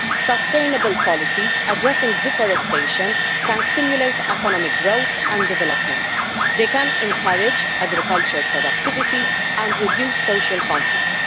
Sustainable policies addressing deforestation can stimulate economic growth and development. They can encourage agricultural productivity and reduce social conflict.